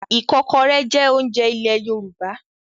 Ìkọ́kọrẹ́ jẹ́ oúnjẹ ilẹ̀ Yorùbá.